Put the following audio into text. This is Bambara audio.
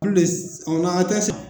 Ku le s ɔnakatɛ sa